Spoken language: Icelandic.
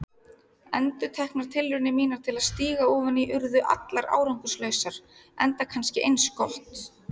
Endurteknar tilraunir mínar til að stíga ofan í urðu allar árangurslausar, enda kannski eins gott.